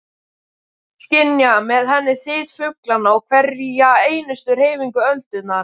Skynja með henni þyt fuglanna og hverja einustu hreyfingu öldunnar.